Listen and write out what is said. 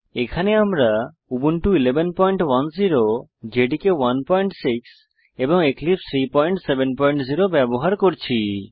এখানে আমরা Ubuntu 1110 JDK 16 এবং এক্লিপসে 370 ব্যবহার করছি